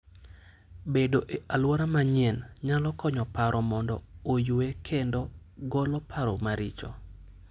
Bedo e alwora manyien nyalo konyo paro mondo oyue kendo golo paro maricho.